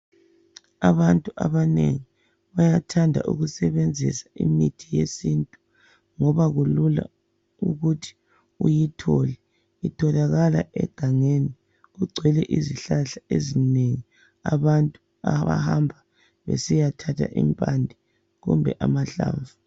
Abantu abanengi bayathanda ukusebenzisa imithi yesintu ngoba kulula ukuthi uyithole. Itholakala egangeni. Kugcwele izihlahla ezinengi abantu abahamba besiyathatha impande kumbe amahlamvu.